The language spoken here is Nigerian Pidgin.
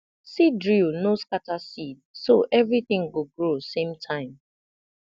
seed drill no scatter seed so everything go grow same time